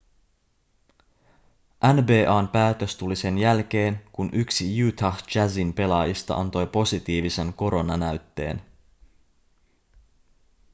nba:n päätös tuli sen jälkeen kun yksi utah jazzin pelaajista antoi positiivisen koronanäytteen